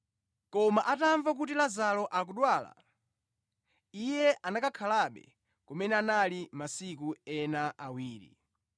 Koma atamva kuti Lazaro akudwala, Iye anakhalabe kumene anali masiku ena awiri.